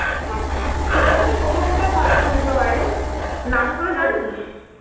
কলকাতা তে কোথায় কোথায় ভালো পুজো হয়রে? নামগুলো জানিস?